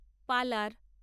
পালার